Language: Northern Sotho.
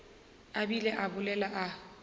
a bile a bolela a